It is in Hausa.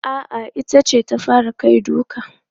A'a, ita ce ta fara kai duka.